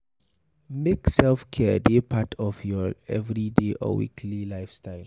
Make self-care dey part of your everyday or weekly lifestyle